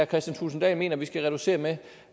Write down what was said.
kristian thulesen dahl mener vi skal reducere med